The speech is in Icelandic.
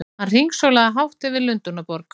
Hann hringsólaði hátt yfir Lundúnaborg!